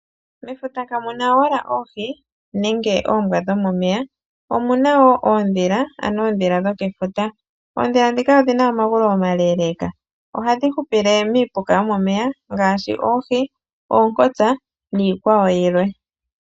Mefuta kamu na owala oohi nenge oombwa dhomomeya, omu na wo oondhila, ano oondhila dhokefuta. Oondhila ndhika odhi na omagulu omaleeleeka. Ohadhi hupile miipuka yomomeya ngaashi oohi, oonkosa niikwawo yilwe.